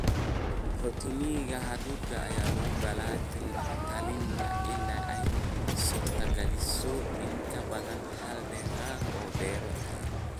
Ratooning hadhuudhka ayaa lagula talinayaa in ay suurtageliso in ka badan hal dalagga hal beero.